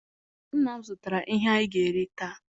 Nna m zụtara ihe anyị ga-eri taa